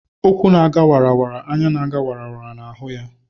Ụkwụ́ na-aga wara wara; anya na-aga wara wara na-ahụ ya.